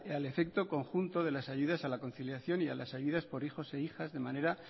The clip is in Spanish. el efecto conjunto de las ayudas a la conciliación y a las ayudas por hijos e hijas de manera